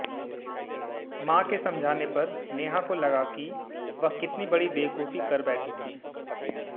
मां के समझाने पर नेहा को लगा कि वह कितनी बड़ी बेवकूफी कर बैठी थी